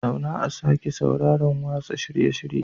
Zauna a sake sauraron watsa shirye-shiryen